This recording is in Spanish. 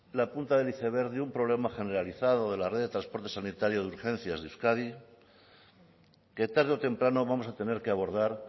la punta del iceberg de un problema generalizado de la red de transporte sanitario de urgencias de euskadi que tarde o temprano vamos a tener que abordar